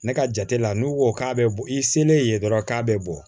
Ne ka jate la n'u ko k'a bɛ i selen yen dɔrɔn k'a bɛ bɔ